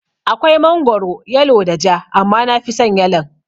Akwai mangoro yalo da ja, amma nafison yalon